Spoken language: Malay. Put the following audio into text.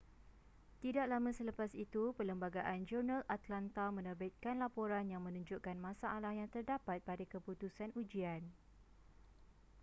tidak lama selepas itu perlembagaan-jurnal atlanta menerbitkan laporan yang menunjukkan masalah yang terdapat pada keputusan ujian